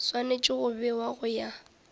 swanetše go bewa go ya